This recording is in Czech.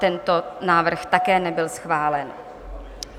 Tento návrh také nebyl schválen.